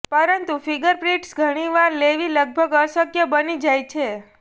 પરંતુ ફિંગરપ્રિન્ટ્સ ઘણી વાર લેવી લગભગ અશક્ય બની જાય છે